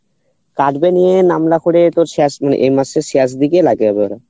মানে এই মাসের শেষ দিকে লাগাইবে ওরা